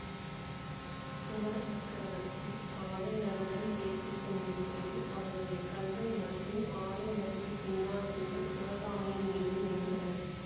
குமார சக்கரவர்த்தி ஆயனருடன் பேசிக்கொண்டிருக்கையில் அவருடைய கண்கள் மட்டும் ஆயனருக்குப் பின்னால் இருந்த சிவகாமியின் மீது நின்றன